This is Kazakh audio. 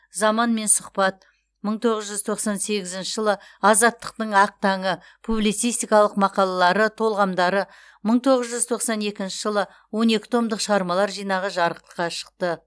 заманмен сұхбат мың тоғыз жүз тоқсан сегізінші жылы азаттықтың ақ таңы публицистикалық мақалалары толғамдары мың тоғыз жүз тоқсан екінші жылы он екі томдық шығармалар жинағы жарыққа шықты